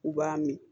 U b'a min